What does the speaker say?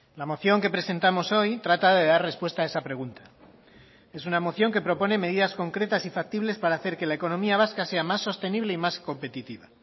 la moción que presentamos hoy trata de dar respuesta a esa pregunta es una moción que propone medidas concretas y factibles para hacer que la economía vasca sea más sostenible y más competitiva